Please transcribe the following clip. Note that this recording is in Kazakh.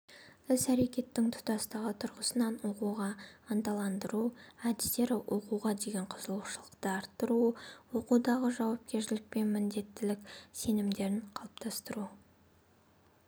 іс-әрекеттің тұтастығы тұрғысынан оқуға ынталандыру әдістері оқуға деген қызығушылықты арттыру оқудағы жауапкершілік пен міндеттілік сезімдерін қалыптастыру